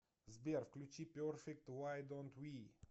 сбер включи перфект вай донт ви